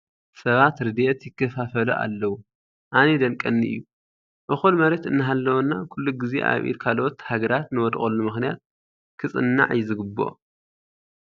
ሰባት ረድኤት ይከፋፈሉ ኣለዉ፡፡ ኣነ ይደንቀኒ እዩ፡፡ እኹል መሬት እናሃለወና ኩሉ ግዜ ኣብ ኢድ ካልኦት ሃገራት ንወድቐሉ ምኽንያት ክፅናዕ እዩ ዝግብኦ፡፡